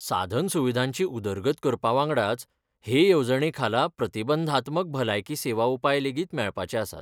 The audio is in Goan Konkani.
साधनसुविधांची उदरगत करपावांगडाच, हे येवजणे खाला प्रतिबंधात्मक भलायकी सेवा उपाय लेगीत मेळपाचेआसात.